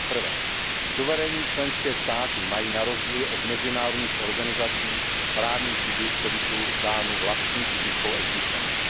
Za prvé suverénní členské státy mají na rozdíl od mezinárodních organizací právní subjektivitu dánu vlastní fyzickou existencí.